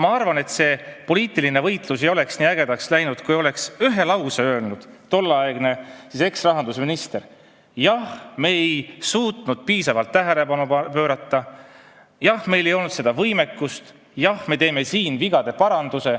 Ma arvan, et poliitiline võitlus ei oleks nii ägedaks läinud, kui eksrahandusminister oleks öelnud ühe lause: "Jah, me ei suutnud sellele piisavalt tähelepanu pöörata, jah, meil ei olnud võimekust, jah, me teeme vigade paranduse.